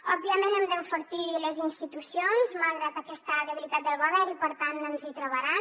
òbviament hem d’enfortir les institucions malgrat aquesta debilitat del govern i per tant ens hi trobaran